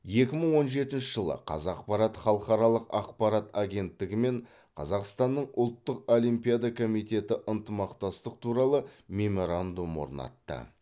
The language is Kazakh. екі мың он жетінші жылы қазақпарат халықаралық ақпарат агенттігі мен қазақстанның ұлттық олимпиада комитеті ынтымақтастық туралы меморандум орнатты